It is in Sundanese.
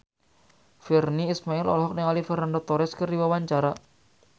Virnie Ismail olohok ningali Fernando Torres keur diwawancara